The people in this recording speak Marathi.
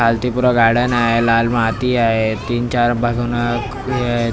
पुरा गार्डन हाय लाल माती आहे तीन चार बाजूनं हे हा --